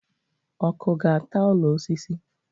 Ọkụ ga-ata ụlọ osisi